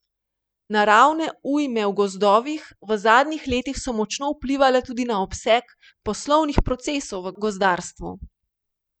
Naravne ujme v gozdovih v zadnjih letih so močno vplivale tudi na obseg poslovnih procesov v gozdarstvu.